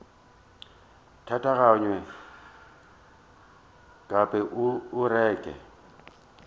tatagwe nkabe o re ke